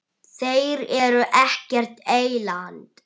Þeir eru ekkert eyland.